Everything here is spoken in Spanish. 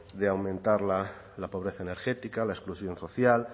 de aumentar la pobreza energética la exclusión social